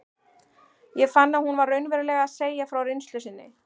Ég fann að hún var raunverulega að segja frá reynslu sinni.